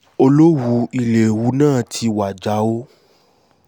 olówú ilé òwú náà ti wájà o